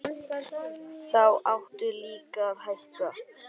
Þá áttu líka að hætta.